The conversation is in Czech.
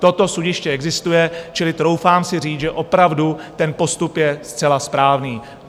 Toto sudiště existuje, čili troufám si říct, že opravdu ten postup je zcela správný.